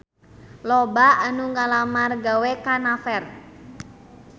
Loba anu ngalamar gawe ka Naver